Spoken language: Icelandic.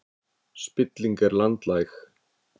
Spilling er landlæg